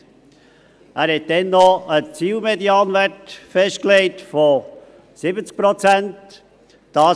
Er legte damals noch einen Zielmedianwert von 70 Prozent fest.